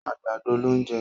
àgbàdo ló n jẹ.